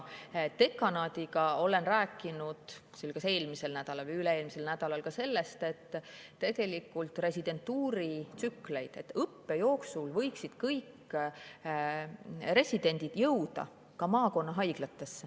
Aga olen rääkinud dekanaadiga – see oli kas eelmisel või üle-eelmisel nädalal – residentuuritsüklitest, et õppe jooksul võiksid kõik residendid jõuda ka maakonnahaiglatesse.